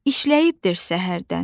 İşləyibdir səhərdən.